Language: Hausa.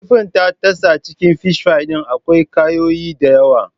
Kifin ta tasa cikin fishfai din akwai ƙayoyi da yawa